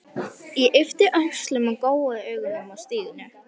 Ég yppti öxlum og gjóaði augunum á Stínu.